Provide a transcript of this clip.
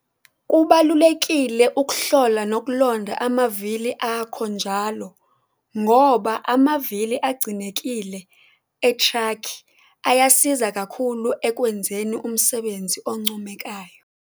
Kubalulekile ukuhlola nokulonda amavili akho njalo ngoba amavili agcinekile etraki asiza kakhulu ekwenzeni umsebenzi oncomekayo.